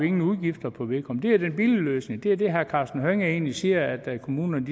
ingen udgifter på vedkommende det er den billige løsning det er det herre karsten hønge egentlig siger at kommunerne